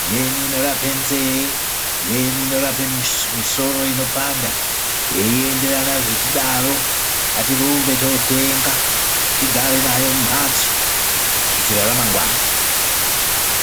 imweni inorapa nze-e imweni inorapa misoro inopanda zveienderana zvichidaro. Ngatirumbe tinotenga tigare nayo mumhatso kuitira ramangwana.